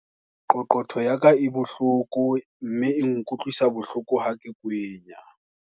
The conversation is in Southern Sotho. Qoqotho ya ka e bohloko mme e nkutlwisa bohloko ha ke kwenya.